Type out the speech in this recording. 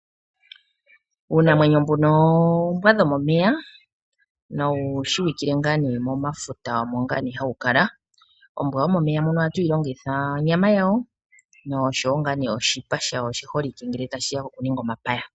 Uunamwenyo mbuno oombwa dhomomeya nowu shiwikile momafuta mono hawu kala. Ombwa yomomeya ohatu yi longitha onyama yawo nosho wo oshipa shayo oshi holike ngele tashi ya kokuninga omapaya.